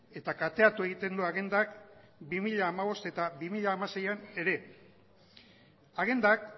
eta kateatu egiten du agendak bi mila hamabost eta bi mila hamaseian ere agendak